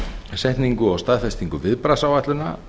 setningu og staðfestingu viðbragðsáætlana